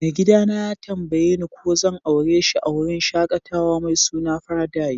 Mai gida na ya tambaye ni ko zan aure shi a'wurin shakatawa mai suna Paradise.